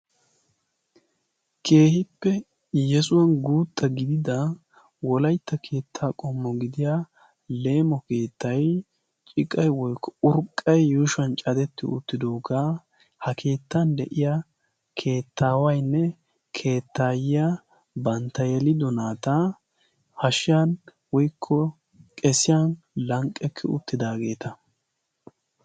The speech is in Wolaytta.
Keehippe yesuwan guutta gidida wolaitta keettaa qommo gidiya leemo keettai ciqay woykko urqqay yuushuan cadetti uttidoogaa ha keettan de'iya keettaawaynne keettaayiya bantta yelido naataa hashshiyan woikko qesiyan lanqqekki uttidaageeta.